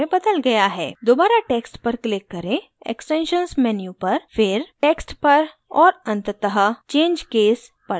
दोबारा text पर click करें extensions menu पर फिर text पर और अंततः change case पर जाएँ